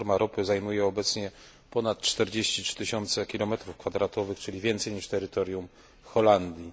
Platforma ropy zajmuje obecnie ponad 43 tysiące kilometrów kwadratowych, czyli więcej niż terytorium Holandii.